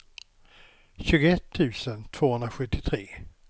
tjugoett tusen tvåhundrasjuttiotre